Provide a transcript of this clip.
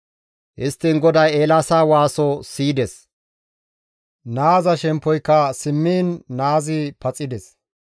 Histtiin GODAY Eelaasa waaso siyides. Naaza shemppoyka simmiin naazi paxides.